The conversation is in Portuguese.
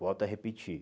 Volto a repetir.